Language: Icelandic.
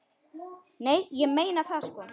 Nei, ég meina það sko.